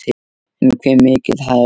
En hve mikið hærra?